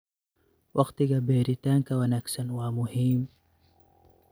Waqtiga beeritaanka wanaagsan waa muhiim.